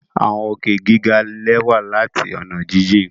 Awọn òkè giga lẹwa lati ọna jijin